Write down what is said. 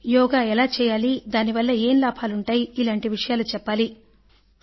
యోగా ఎలా చేయాలి ఏం లాభాలు ఉంటాయి ఇలాంటి విషయాలు చెప్పాలి అంటూ